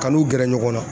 Ka n'u gɛrɛ ɲɔgɔn na